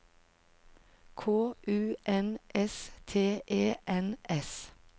K U N S T E N S